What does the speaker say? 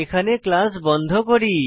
এখানে ক্লাস বন্ধ করি